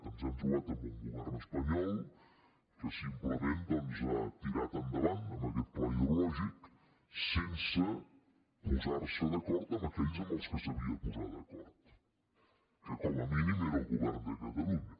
ens hem trobat amb un govern espanyol que simplement doncs ha tirat endavant amb aquest pla hidrològic sense posar se d’acord amb aquells amb qui s’havia de posar d’acord que com a mínim era el govern de catalunya